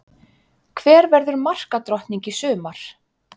Hver verður markadrottning í sumar?